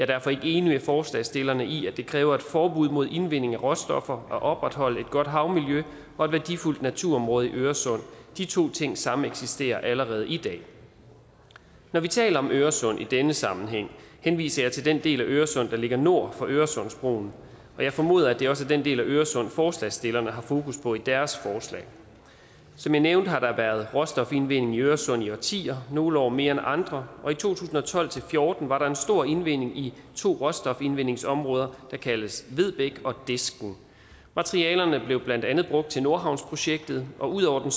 derfor ikke enig med forslagsstillerne i at det kræver et forbud mod indvinding af råstoffer at opretholde et godt havmiljø og et værdifuldt naturområde i øresund de to ting sameksisterer allerede i dag når vi taler om øresund i denne sammenhæng henviser jeg til den del af øresund der ligger nord for øresundsbroen og jeg formoder at det også er den del af øresund forslagsstillerne har fokus på i deres forslag som jeg nævnte har der været råstofindvinding i øresund i årtier nogle år mere end andre og i to tusind og tolv til fjorten var der en stor indvending i to råstofindvindingsområder der kaldes vedbæk og disken materialerne blev blandt andet brugt til nordhavnsprojektet og ud over den